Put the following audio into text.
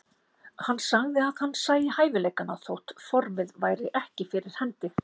Hann sagði að hann sæi hæfileikana þótt formið væri ekki fyrir hendi.